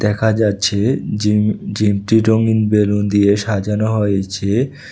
দেখা যাচ্ছে জিম জিমটি রঙ্গিন বেলুন দিয়ে সাজানো হয়েছে।